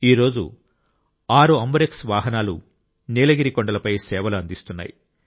ఈ రోజు 6 అంబురెక్స్ వాహనాలు నీలగిరి కొండలపై సేవలు అందిస్తున్నాయి